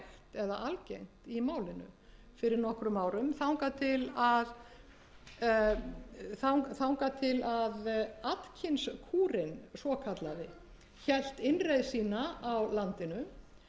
eða algengt í málinu fyrir nokkrum árum þangað til að atkinskúrinn svokallaði hélt innreið sína í landið en þar með fór